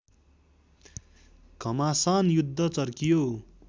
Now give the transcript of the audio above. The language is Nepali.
घमासान युद्ध चर्कियो